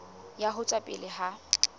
ya ho tswela pele ha